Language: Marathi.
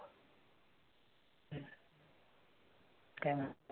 Scanner.